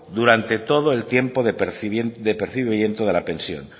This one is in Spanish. durante todo el tiempo de percibimiento de la pensión